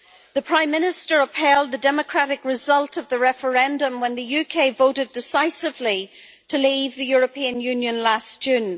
The Prime Minister upheld the democratic result of the referendum, when the UK voted decisively to leave the European Union last June.